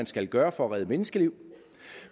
skal gøre for at redde menneskeliv